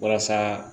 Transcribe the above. Walasa